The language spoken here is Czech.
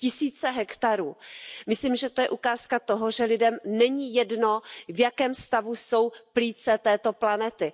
Tisíce hektarů, myslím, že to je ukázka toho, že lidem není jedno, v jakém stavu jsou plíce této planety.